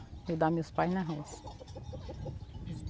Ajudar meus pais na roça.